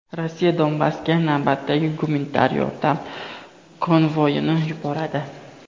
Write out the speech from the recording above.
Rossiya Donbassga navbatdagi gumanitar yordam konvoyini yuboradi.